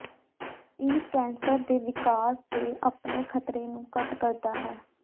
ਇਹ ਕੈਂਸਰ ਦੇ ਵਿਕਾਸ ਦੇ ਆਪਣੇ ਖ਼ਤਰੇ ਨੂੰ ਘੱਟ ਕਰਦਾ ਹੈ